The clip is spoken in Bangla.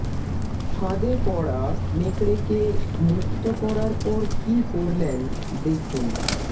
ফাঁদে পড়া নেকড়েকে মুক্ত করার পর কী করলেন দেখুন